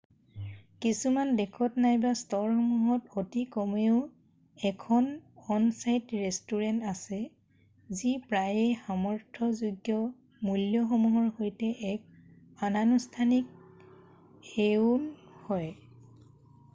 কিছুমান দেশত নাইবা ষ্ট'ৰসমূহত অতিকমেও 1 খন অন-ছাইট ৰেষ্টুৰেন্ট আছে যি প্ৰায়েই সামৰ্থযোগ্য মূ্ল্যসমূহৰ সৈতে এক অনানুষ্ঠানিক 1ও হয়৷